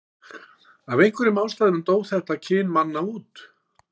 Af einhverjum ástæðum dó þetta kyn manna út.